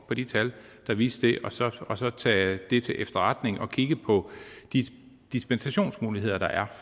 på de tal der viste det og så og så tage det til efterretning og kigge på de dispensationsmuligheder der er